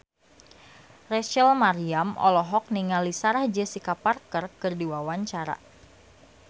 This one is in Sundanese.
Rachel Maryam olohok ningali Sarah Jessica Parker keur diwawancara